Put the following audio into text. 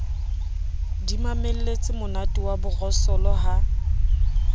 di mamelletsemonate wa borosolo ha